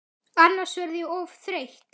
Annars verð ég of þreytt.